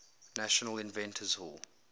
national inventors hall